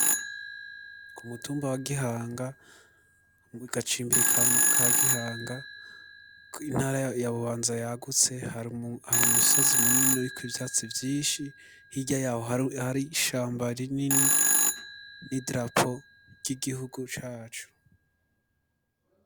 Ku mutumba wa gihanga gacimbiri ka gihanga kw'intara ya bubanza yagutse hari umusozi munini uriko ivyatsi vyinshi hirya yaho hari ishamba rinini n'idarapo ry'igihugu cacu.